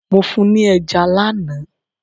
Mo fún ni ẹja lánàá.